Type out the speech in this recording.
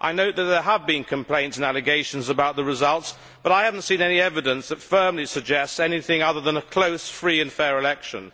I know that there have been complaints and allegations about the results, but I have not seen any evidence that firmly suggests anything other than a close, free and fair election.